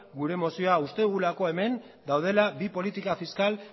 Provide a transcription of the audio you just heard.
gure mozioa uste dugulako hemen daudela bi politika fiskal